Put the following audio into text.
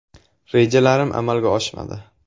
Rejalarim amalga oshmadi.